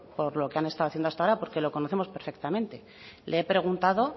por lo que han estado haciendo hasta ahora porque lo conocemos perfectamente le he preguntado